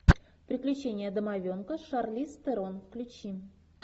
приключения домовенка с шарлиз терон включи